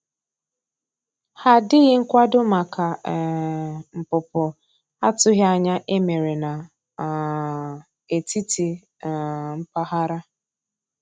Ha dịghị nkwado maka um npụpụ atụghi anya e mere na um etiti um mpaghara.